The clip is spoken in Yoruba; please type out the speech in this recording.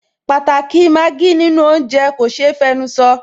Pàtàkì i Maggi nínú oúnjẹ kò ṣe é fẹnusọ